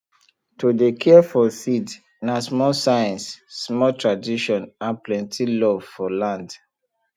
to dey care for seed na small science small tradition and plenty love for land